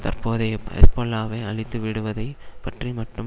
தற்போதைய ஹெஸ்பொல்லாவை அழித்துவிடுவதை பற்றி மட்டும்